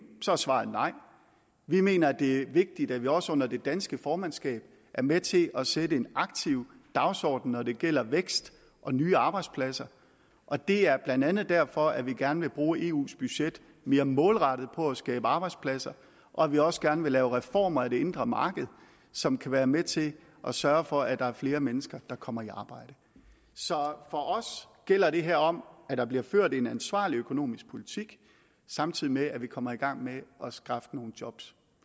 så er svaret nej vi mener at det er vigtigt at vi også under det danske formandskab er med til at sætte en aktiv dagsordenen når det gælder vækst og nye arbejdspladser og det er blandt andet derfor at vi gerne vil bruge eus budget mere målrettet på at skabe arbejdspladser og at vi også gerne vil lave reformer af det indre marked som kan være med til at sørge for at der er flere mennesker der kommer i arbejde så for os gælder det her om at der bliver ført en ansvarlig økonomisk politik samtidig med at vi kommer i gang med at skaffe nogle job